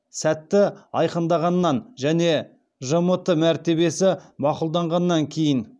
сәтті айқындағаннан және жмт мәртебесі мақұлданғаннан кейін